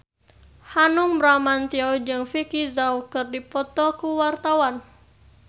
Hanung Bramantyo jeung Vicki Zao keur dipoto ku wartawan